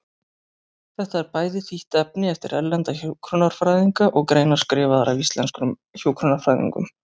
Þetta er bæði þýtt efni eftir erlenda hjúkrunarfræðinga og greinar skrifaðar af íslenskum hjúkrunarfræðingum.